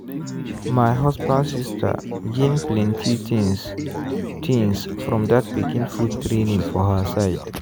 my husband sister gain plenty things things from that pikin food training for her side.